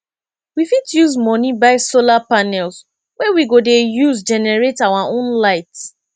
we fit use moni buy solar panels wey we go de use generate our own light